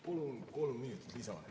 Palun kolm minutit lisaaega.